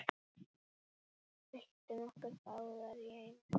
Byltum okkur báðar í einu.